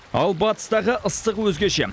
ал батыстағы ыстық өзгеше